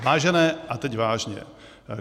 Vážené - a teď vážně.